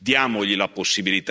Non gli serve questo.